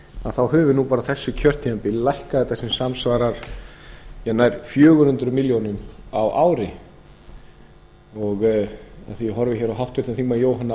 þá höfum við nú bara á þessu kjörtímabili lækkað þetta sem samsvarar nær fjögur hundruð milljóna króna á ári af því að ég horfi hér á háttvirtan þingmann jóhann